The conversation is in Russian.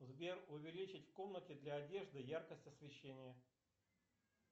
сбер увеличить в комнате для одежды яркость освещения